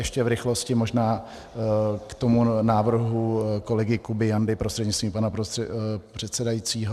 Ještě v rychlosti možná k tomu návrhu kolegy Kuby Jandy prostřednictvím pana předsedajícího.